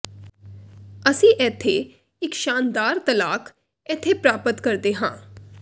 ਅਸੀਂ ਇੱਥੇ ਇੱਕ ਸ਼ਾਨਦਾਰ ਤਲਾਕ ਇੱਥੇ ਪ੍ਰਾਪਤ ਕਰਦੇ ਹਾਂ